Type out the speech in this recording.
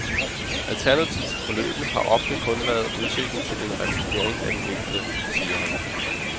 Alternativet til forløbene har ofte kun været udsigten til en revalidering af den enkelte, siger han.